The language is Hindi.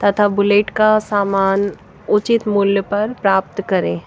तथा बुलेट का सामान उचित मूल्य पर प्राप्त करें।